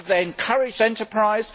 Have they encouraged enterprise?